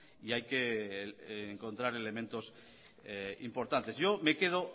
y encontrar elementos importantes yo me quedo